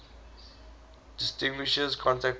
distinguishes contract bridge